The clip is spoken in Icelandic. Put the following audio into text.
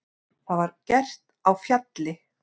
Það var gert á Fjalli.